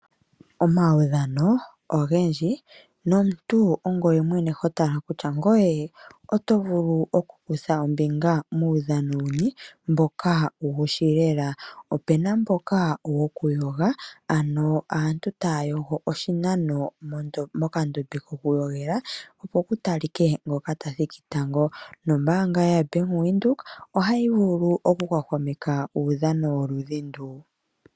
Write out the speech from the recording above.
Omawudhano ogendji, nomuntu ongoye mwene hotala kutya ngoye, oto vulu okukutha ombinga muudhano wuni mboka wu wushi lela. Opena mboka wokuyoga ano aantu taya yogo oshinano mokandombe koku yogela, opo kutalike ngoka tathiki tango nombaanga yaBank Windhoek ohayi vulu oku hwahwameka uudhano woludhi ndu.